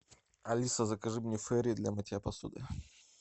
алиса закажи мне фейри для мытья посуды